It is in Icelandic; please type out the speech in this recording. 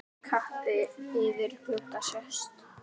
Kappi yfir glugga sést.